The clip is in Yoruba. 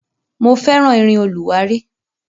Mo fẹ́ràn irin olùwárí.